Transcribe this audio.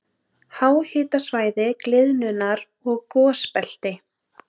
Háhitasvæði- gliðnunar- og gosbelti